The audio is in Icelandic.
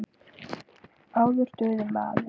Áður dugði maður.